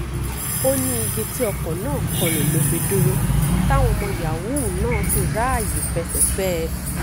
ó ní igi tí ọkọ̀ náà kọ lù ló fi dúró táwọn ọmọ yahoo náà sì ráàyè fẹsẹ̀ fẹ́ ẹ